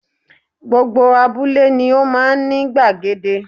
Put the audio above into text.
Gbogbo abúlé ni ó máa n ní gbàgede